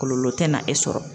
Kɔlɔlɔ tɛna e sɔrɔ.